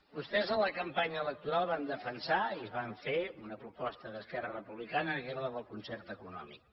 vostès a la campanya electoral van defensar i fan ver una proposta d’esquerra republicana que era la del concert econòmic